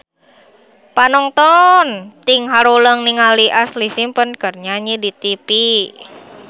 Panonton ting haruleng ningali Ashlee Simpson keur nyanyi di tipi